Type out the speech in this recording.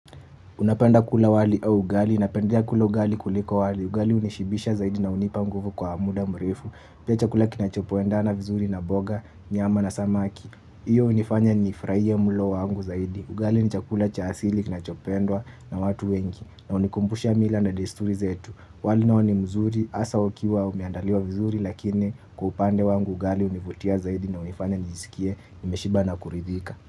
Unapenda kula wali au ugali, napendea kula ugali kuliko wali. Ugali hunishibisha zaidi na hunipa nguvu kwa muda mrefu. Pia chakula kinachopo endana vizuri na boga, nyama na samaki. Iyo hunifanya nifurahie mlo wangu zaidi. Ugali ni chakula cha asili kinachopendwa na watu wengi na hunikumbusha mila na desturi zetu. Wali nao ni mzuri hasa ukiwa umeandaliwa vizuri lakini kwa upande wangu ugali hunivutia zaidi na hunifanya nijisikie nimeshiba na kuridhika.